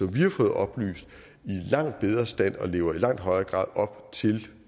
vi har fået oplyst i langt bedre stand og lever i langt højere grad op til